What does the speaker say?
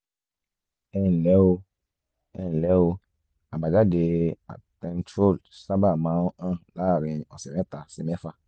ẹ nlẹ́ o ẹ nlẹ́ o àbájáde attentrol sábà máa ń hàn láàárín ọ̀sẹ̀ mẹ́ta sí mẹ́fà